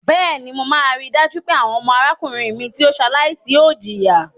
Bẹ́ẹ̀ni, mo máa rí dájú pé àwọn ọmọ arákùnrin mi tí ó ṣaláìsí ò jìyà.